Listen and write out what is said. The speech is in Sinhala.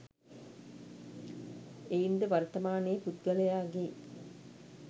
එයින් ද වර්තමානයේ පුද්ගලයාගේ